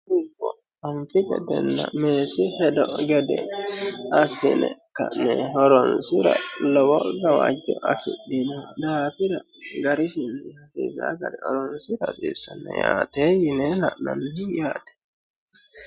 Dubbo anifi gedena meesi hedo gede asine ka'ne horonisira lowo gawajjo afidhino daafira garisinni hasisa garinni horonisira yaate yine haananni yaate